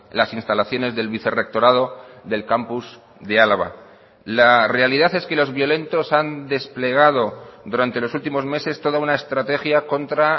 las instalaciones del vicerrectorado del campus de álava la realidad es que los violentos han desplegado durante los últimos meses toda una estrategia contra